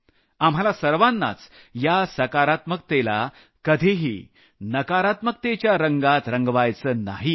आपल्याला सर्वांनाच या सकारात्मकतेला कधीही नकारात्मकतेच्या रंगात रंगवायचं नाहीये